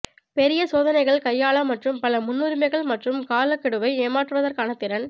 பெரிய சோதனைகள் கையாள மற்றும் பல முன்னுரிமைகள் மற்றும் காலக்கெடுவை ஏமாற்றுவதற்கான திறன்